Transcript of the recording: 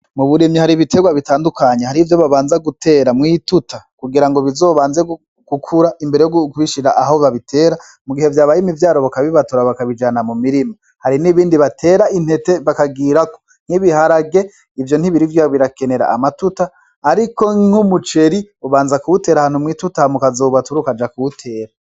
Muburimyi hari ibiterwa bitandukanye hari ivyo babanza gutera mw'ituta kugira ngo bizo banze gukura imbere yo kubishira aho babitera mu gihe vyabaye imivyaro baka bibatura bakabijana mu mirima, hari n'ibindi batera intete bakagirako nk'ibiharage ivyo ntibirirwa birakenera amatuta, ariko nk'umuceri ubanza kuwutera ahantu mw'ituta hama ukazobatura ukaja kuwutera.